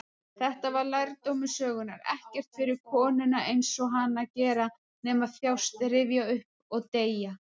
Þetta var lærdómur sögunnar: ekkert fyrir konur-einsog-hana að gera nema þjást, rifja upp, og deyja.